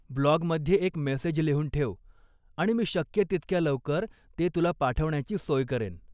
ब्लॉगमध्ये एक मेसेज लिहून ठेव आणि मी शक्य तितक्या लवकर ते तुला पाठवण्याची सोय करेन.